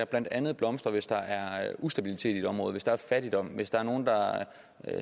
blandt andet blomstrer hvis der er ustabilitet i et område hvis der er fattigdom hvis der er nogen der